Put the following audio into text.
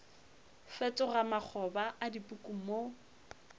fetoga makgoba a dipuku mo